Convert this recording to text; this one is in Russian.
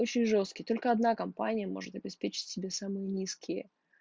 очень жёсткий только одна компания может обеспечить себе самые низкие